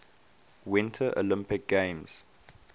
winter olympic games